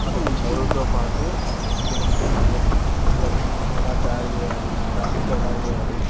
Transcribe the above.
వాళ్లకి చదువుతోపాటు పెయింటింగు లు లేదా బొమ్మల్ని ఎలా తయారు చేయాలి --